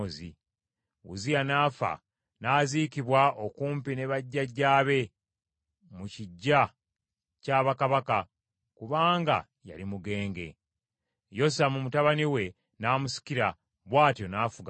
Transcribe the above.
Uzziya n’afa, n’aziikibwa okumpi ne bajjajjaabe mu kiggya kya bakabaka, kubanga, yali mugenge. Yosamu mutabani we n’amusikira, bw’atyo n’afuga mu kifo kye.